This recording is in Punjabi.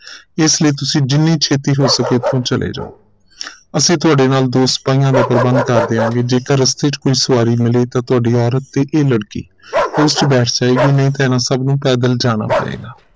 ਇਸੀ ਲਈ ਤੁਸੀਂ ਜਿਨ੍ਹੀ ਛੇਤੀ ਹੋ ਸਕੇ ਇਥੋਂ ਚਲੇ ਜਾਓ ਅਸੀਂ ਤੁਹਾਡੇ ਨਾਲ ਦੋ ਸਿਪਾਹੀਆਂ ਦਾ ਪ੍ਰਬੰਧ ਕਰ ਦਿਆਂਗੇ ਜੇਕਰ ਰਸਤੇ ਚ ਕੋਈ ਸਵਾਰੀ ਮਿਲੇ ਤਾਂ ਤੁਹਾਡੀ ਔਰਤ ਤੇ ਇਹ ਲੜਕੀ ਉਸ ਚ ਬੈਠ ਜਾਏਗੀ ਨਹੀਂ ਤਾਂ ਇਹਨਾਂ ਸਭ ਨੂੰ ਪੈਦਲ ਜਾਣਾ ਪਏਗਾ